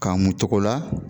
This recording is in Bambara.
K'a mu togo la